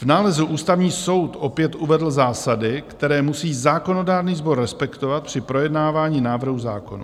V nálezu Ústavní soud opět uvedl zásady, které musí zákonodárný sbor respektovat při projednávání návrhů zákonů.